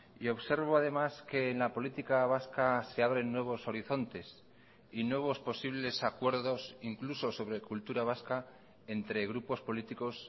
y observo además que en la política vasca se abren nuevos horizontes y nuevos posibles acuerdos incluso sobre cultura vasca entre grupos políticos